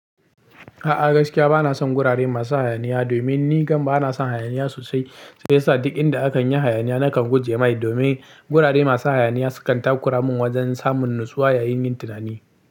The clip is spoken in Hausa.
A'a gaskiya bana son gurare masu hayaniya domin ni kanta bana son hayaniya sosai. Shiya sa duk inda akan yi hayaniya nakan guje mai domin gurare masu hayaniya sukan takura min wajen samun natsuwa yayin yin tunani.